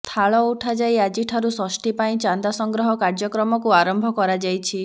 ଥାଳ ଉଠାଯାଇ ଆଜିଠାରୁ ଷଷ୍ଠୀପାଇଁ ଚାନ୍ଦା ସଂଗ୍ରହ କାର୍ଯ୍ୟକ୍ରମକୁ ଆରମ୍ଭ କରାଯାଇଛି